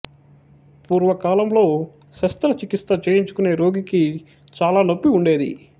పూర్వకాలంలో శస్త్ర చికిత్స చేయించుకునే రోగికి చాలా నొప్పి ఉండేది